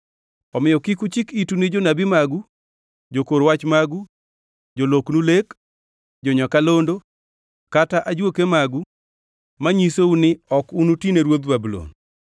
Omiyo kik uchik itu ne jonabi magu, jokor wach magu, joloknu lek, jo-nyakalondo kata ajuoke magu manyisou ni ok unutine ruodh Babulon.